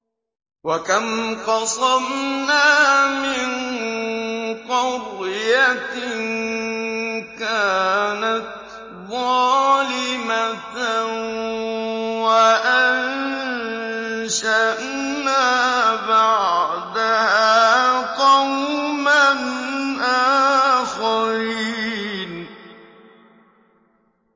وَكَمْ قَصَمْنَا مِن قَرْيَةٍ كَانَتْ ظَالِمَةً وَأَنشَأْنَا بَعْدَهَا قَوْمًا آخَرِينَ